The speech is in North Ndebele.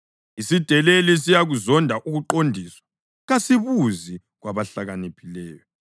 Isideleli siyakuzonda ukuqondiswa; kasibuzi kwabahlakaniphileyo.